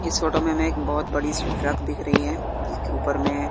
इस फोटो में हमें एक बहोत बड़ी सी ट्रक दिख रही है जिसके ऊपर में--